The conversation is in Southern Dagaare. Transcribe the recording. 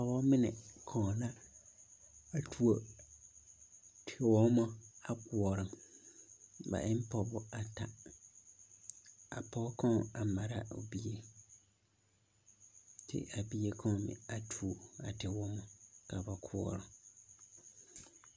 Pɔgeba mine koɔna a tuo tewoma a koɔrɔ ba e ne pɔgeba bata a pɔge kaŋ mare la o bie kyɛ ka a bie kaŋ a tuo a tewoma a wa koɔra.